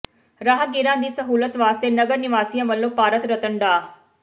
ਰਾਹਗੀਰਾਂ ਦੀ ਸਹੂਲਤ ਵਾਸਤੇ ਨਗਰ ਨਿਵਾਸੀਆਂ ਵੱਲੋਂ ਭਾਰਤ ਰਤਨ ਡਾ